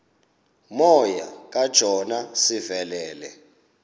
moya kajona sivelele